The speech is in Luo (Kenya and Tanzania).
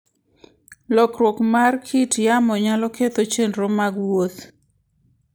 Lokruok mar kit yamo nyalo ketho chenro mag wuoth.